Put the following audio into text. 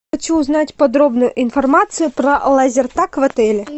хочу узнать подробную информацию про лазертаг в отеле